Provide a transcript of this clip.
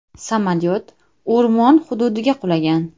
Samolyot o‘rmon hududiga qulagan.